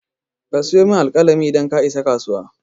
Ka siyo min alƙalami idan ka isa kasuwa.